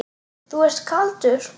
Þú ert kaldur!